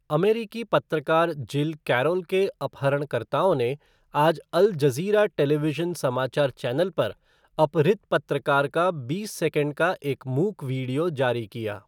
अमेरिकी पत्रकार Jill Carroll के अपहरणकर्ताओं ने आज अल जज़ीरा टेलीविज़न समाचार चैनल पर अपहृत पत्रकार का बीस सेकंड का एक मूक वीडियो जारी किया।